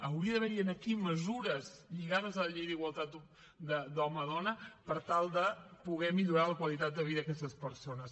hauria d’haver hi aquí mesures lligades a la llei d’igualtat d’home dona per tal de poder millorar la qualitat de vida d’aquestes persones